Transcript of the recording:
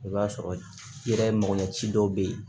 I b'a sɔrɔ i yɛrɛ makoɲɛci dɔw bɛ yen